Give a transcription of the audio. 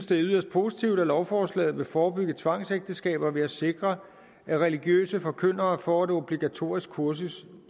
det er yderst positivt at lovforslaget vil forebygge tvangsægteskaber ved at sikre at religiøse forkyndere får et obligatorisk kursus